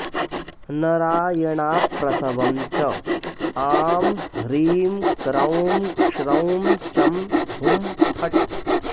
नरायणाऽप्रसवम् च आं ह्रीं क्रौं क्ष्रौं चं हुं फट्